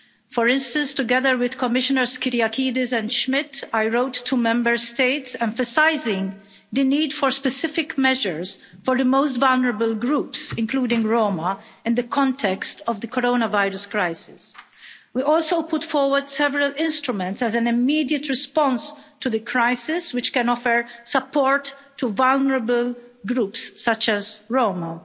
For instance, together with Commissioners Kyriakides and Schmit, I wrote to Member States emphasising the need for specific measures for the most vulnerable groups, including Roma, in the context of the coronavirus crisis. We also put forward several instruments as an immediate response to the crisis, which can offer support to vulnerable groups such as Roma.